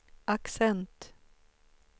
accent